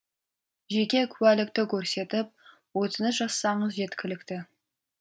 жеке куәлікті көрсетіп өтініш жазсаңыз жеткілікті